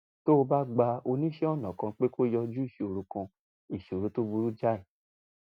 tó o bá gba oníṣẹ́ ọnà kan pé kó yanjú ìṣòro kan ìṣòro tó burú jáì